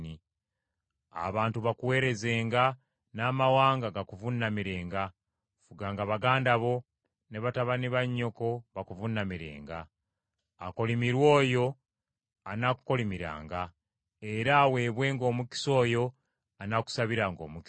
Abantu bakuweerezenga, n’amawanga gakuvuunamirenga. Fuganga baganda bo, ne batabani ba nnyoko bakuvuunamirenga. Akolimirwe oyo anaakukolimiranga era aweebwenga omukisa oyo anaakusabiranga omukisa.”